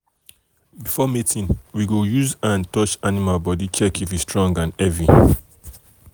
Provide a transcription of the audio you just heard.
before mating we go use hand touch animal body check if e strong and heavy.